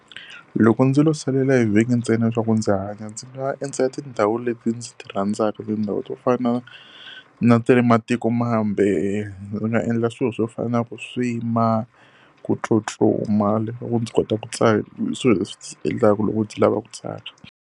Loko ndzi lo salela hi vhiki ntsena leswaku ndzi hanya ndzi nga endzela tindhawu leti ndzi ti rhandzaka. Tindhawu to fana na ta le matikomambe, ndzi nga endla swilo swo fana na ku swim-a, ku tsutsuma ndzi kota ku . I swilo leswi endlaku loko ndzi lava ku tsaka.